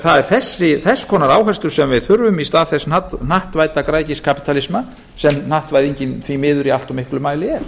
það er þess konar áherslur sem við þurfum í stað þess hnattvædda græðgiskapítalisma sem hnattvæðingin því miður í allt of miklum mæli er